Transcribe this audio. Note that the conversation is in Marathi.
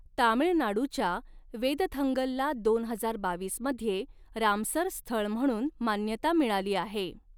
तामिळनाडूच्या वेदथंगलला दोन हजार बावीस मध्ये रामसर स्थळ म्हणून मान्यता मिळाली आहे.